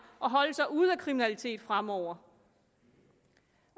og holde sig ude af kriminalitet fremover